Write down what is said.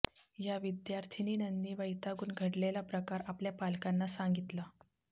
या विद्यार्थिनीनंनी वैतागून घडलेला प्रकार आपल्या पालकांना सांगितला